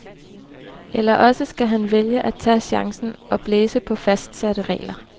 Eller også skal han vælge at tage chancen og blæse på fastsatte regler.